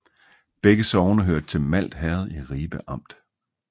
Begge sogne hørte til Malt Herred i Ribe Amt